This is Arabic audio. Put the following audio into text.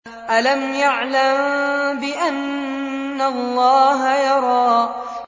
أَلَمْ يَعْلَم بِأَنَّ اللَّهَ يَرَىٰ